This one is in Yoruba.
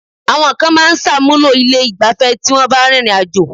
Àwọn kan máa ń ṣàmúlò ilé ìgbafẹ́ tí wọ́n bá rìnrìn àjò.